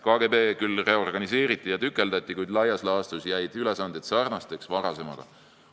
KGB küll reorganiseeriti ja tükeldati, kuid laias laastus jäid ülesanded sarnasteks varasematega.